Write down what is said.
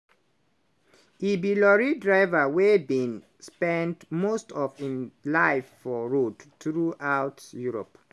e be lorry driver wey bin spend most of im life for road throughout europe.